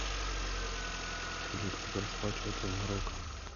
салют как расплачиваться в марокко